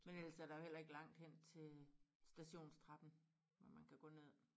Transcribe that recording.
Men ellers så der jo heller ikke langt hen til stationstrappen hvor man kan gå ned